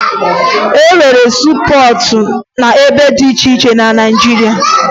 E nwere siipọọtụ n'ebe dị iche iche na Naịjirịa